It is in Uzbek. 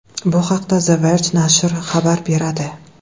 Bu haqda The Verge nashri xabar beradi.